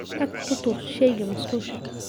Tag ku tuur shayga musqusha.